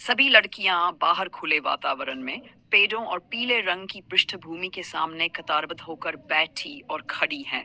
सभी लड़कियां बाहर खुले वातावरण में पेड़ों और पीले रंग की पृष्ठभूमि के सामने कतार बद्ध होकर बैठी और खड़ी हैं।